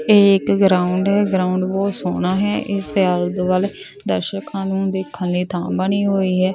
ਇਹ ਇੱਕ ਗਰਾਊਂਡ ਹੈ ਗਰਾਊਂਡ ਬਹੁਤ ਸੋਹਣਾ ਹੈ ਇਸ ਦੇ ਆਲੇ ਦੁਆਲੇ ਦਰਸ਼ਕਾਂ ਨੂੰ ਦੇਖਣ ਲਈ ਥਾਂ ਬਣੀ ਹੋਈ ਹੈ।